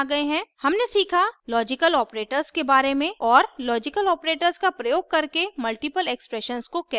हमने सीखा logical operators के बारे में और logical operators का प्रयोग करके multiple expressions को कैसे जाँचें